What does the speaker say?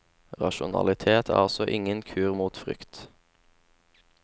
Rasjonalitet er altså ingen kur mot frykt.